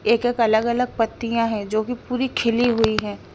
एक एक अलग अलग पत्तियां है जो की पूरी खुली हुई है।